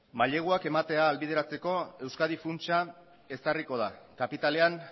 maileguak ematea ahalbideratzeko euskadi funtsa ezarriko da kapitalean